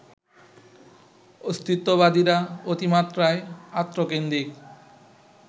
অস্তিত্ববাদীরা অতিমাত্রায় আত্মকেন্দ্রিক